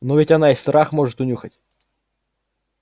но ведь она и страх может унюхать